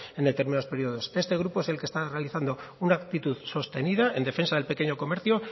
en determinados periodos este grupo es el que está realizando una actitud sostenida en defensa del pequeño comercio